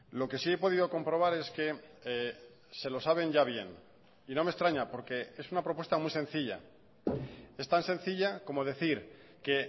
lo que sí he podido comprobar es que se lo saben ya bien y no me extraña porque es una propuesta muy sencilla es tan sencilla como decir que